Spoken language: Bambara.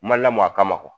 Ma lamɔ a kama